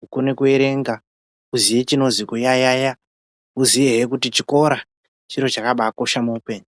hukone kuerenga huziye chinozwi kuyayaya huziyihe kuti chikora chiro chakabakosha muupenyu.